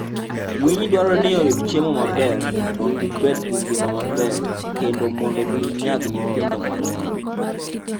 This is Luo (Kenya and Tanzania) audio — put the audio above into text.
Winy dwarore ni oyud chiemo maber mondo gibed gi ngima maber kendo mondo ginyag nyithindo mang'eny.